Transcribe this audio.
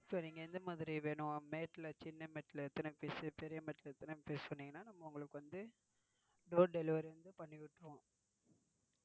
சரிங்க. எந்த மாதிரி சின்ன mat ல எத்தனை piece பெரிய mat எத்தனை piece னு சொன்னீங்க னா நம்ம உங்களுக்கு வந்து door delivery வந்து பண்ணிவிட்டிருவோம்.